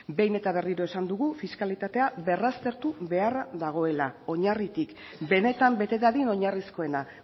behin eta berriro esan dugu fiskalitatea berraztertu beharra dagoela oinarritik benetan bete dadin oinarrizkoena